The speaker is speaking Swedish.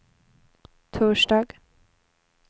torsdag